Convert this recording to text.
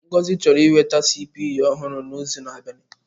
Ngozi chọrọ inweta CPU ọhụrụ n'izu na-abịa.